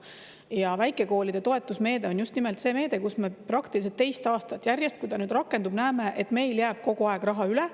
Ja väikekoolide toetusmeede on just nimelt see meede, mille puhul me praktiliselt teist aastat järjest, kui ta on rakendunud, näeme, et meil jääb kogu aeg raha üle.